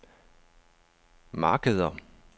markeder